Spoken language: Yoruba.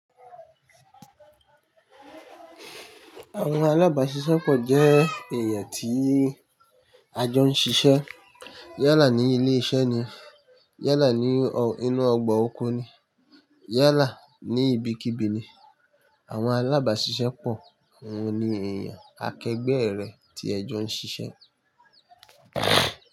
Àwon alábàṣiṣẹ́po jẹ́ èèyàn tí a jọ ń ṣiṣẹ́. Yẹ́là ní ilé iṣẹ́ ni, yẹ́là ní inú ọgbà oko ni, yẹ́là ní ibikíbi ni. Àwọn alábàṣiṣẹ́po àwọn ni èèyàn akegbe ere tí ẹjọ́ ń ṣíṣẹ́